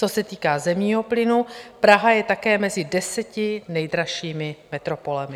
Co se týká zemního plynu, Praha je také mezi deseti nejdražšími metropolemi.